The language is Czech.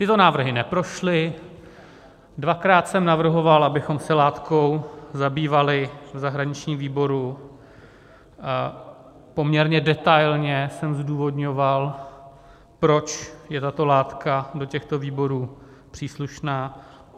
Tyto návrhy neprošly, dvakrát jsem navrhoval, abychom se látkou zabývali v zahraničním výboru, poměrně detailně jsem zdůvodňoval, proč je tato látka do těchto výborů příslušná.